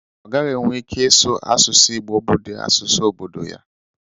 Ọ gaghị enwe ike ịsụ asụsụ Igbo bụ dị asụsụ obodo ya.